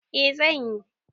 E, zan yi